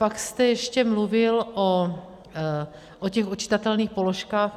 Pak jste ještě mluvil o těch odčitatelných položkách.